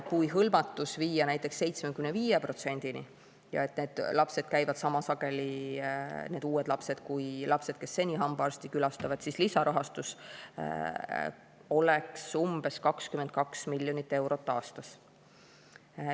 Kui hõlmatus viia näiteks 75%-ni ja need uued lapsed käivad sama sageli kui lapsed, kes seni hambaarsti külastavad, siis lisarahastus oleks umbes 22 miljonit eurot aastas.